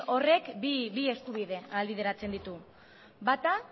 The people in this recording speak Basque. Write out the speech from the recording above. horrek bi eskubide ahalbideratzen ditu bata